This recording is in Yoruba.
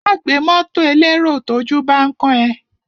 Má gbé mọ́tọ̀ elérò tójú bán kán ẹ.